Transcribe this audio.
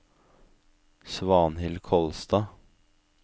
Svanhild Kolstad